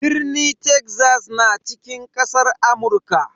Birni Texas na cikin kasar Amurka.